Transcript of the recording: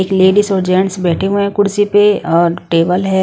एक लेडीज और जेंट्स बैठे हुए हैं कुर्सी पे और टेबल हैं।